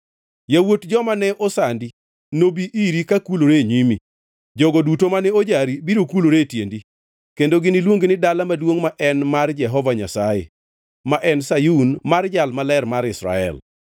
Yawuot joma ne osandi nobi iri kakulore e nyimi; jogo duto mane ojari biro kulore e tiendi, kendo giniluongi ni Dala Maduongʼ ma en mar Jehova Nyasaye, ma en Sayun mar Jal Maler mar Israel.